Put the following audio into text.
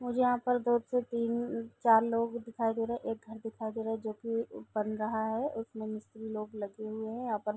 मुझे यहाँ पर बहुत से तीन चार लोग दिखाई दे रहे हैं | एक घर दिखाई दे रहा है जो की बन रहा है उस मे मिस्त्री लोग लगे हुए है यहाँ पर |